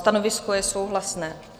Stanovisko je souhlasné.